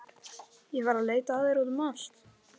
Ég var að leita að þér út um allt.